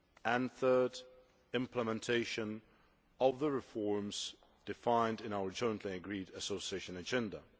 and, thirdly, implementation of the reforms defined in our jointly agreed Association Agenda.